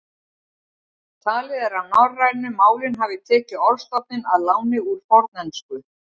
Talið er að norrænu málin hafi tekið orðstofninn að láni úr fornensku.